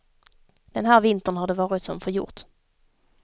Den här vintern har det varit som förgjort.